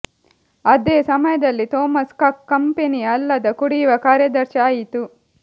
ಅದೇ ಸಮಯದಲ್ಲಿ Thomas Cook ಕಂಪನಿಯ ಅಲ್ಲದ ಕುಡಿಯುವ ಕಾರ್ಯದರ್ಶಿ ಆಯಿತು